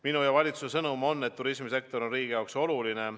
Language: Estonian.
Minu ja valitsuse sõnum on, et turismisektor on riigi jaoks oluline.